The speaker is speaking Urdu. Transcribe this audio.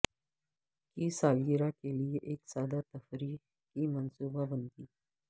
کی سالگرہ کے لئے ایک سادہ تفریح کی منصوبہ بندی